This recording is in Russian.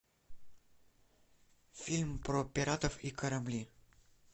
фильм про пиратов и корабли